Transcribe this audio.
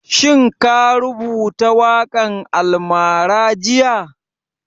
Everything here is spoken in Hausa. Shin ka rubuta waƙan almara jiya?